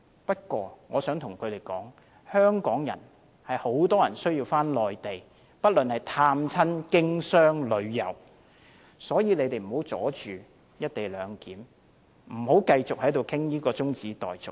不過，我想告訴他們，很多香港人需要返回內地，不論是探親、經商或旅遊，所以請他們不要阻礙"一地兩檢"，不要繼續討論中止待續。